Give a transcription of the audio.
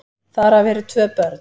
Þar af eru tvö börn.